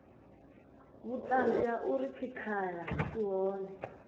vhuṱanzi ha uri tshikhala tshi hone